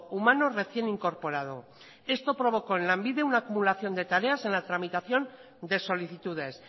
humano recién incorporado esto provocó en lanbide una acumulación de tareas en la tramitación de solicitudes